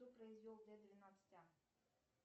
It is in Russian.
кто произвел д двенадцать а